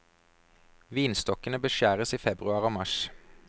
Vinstokkene beskjæres i februar og mars.